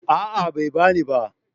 A'a bai bani ba